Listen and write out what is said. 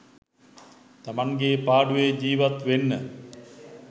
තමන්ගේ පාඩුවේ ජීවත් වෙන්න.